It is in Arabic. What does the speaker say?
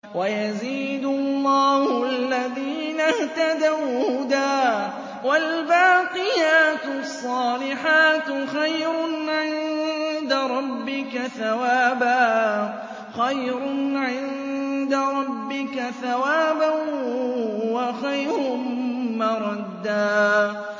وَيَزِيدُ اللَّهُ الَّذِينَ اهْتَدَوْا هُدًى ۗ وَالْبَاقِيَاتُ الصَّالِحَاتُ خَيْرٌ عِندَ رَبِّكَ ثَوَابًا وَخَيْرٌ مَّرَدًّا